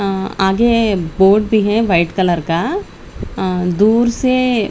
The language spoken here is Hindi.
आगे बोर्ड भी है वाइट कलर का दूर से--